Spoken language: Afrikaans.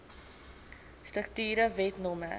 strukture wet no